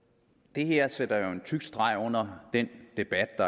det her sætter jo en tyk streg under den debat og